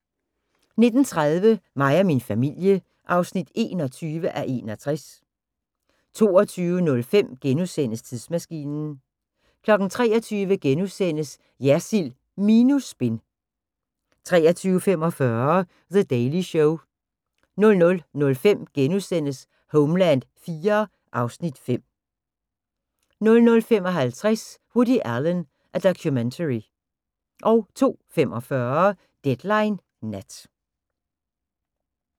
19:30: Mig og min familie (21:61) 22:05: Tidsmaskinen * 23:00: Jersild minus spin * 23:45: The Daily Show 00:05: Homeland IV (Afs. 5)* 00:55: Woody Allen: A Documentary 02:45: Deadline Nat